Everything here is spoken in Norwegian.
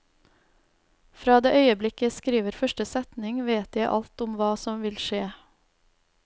Fra det øyeblikk jeg skriver første setning vet jeg alt om hva som vil skje.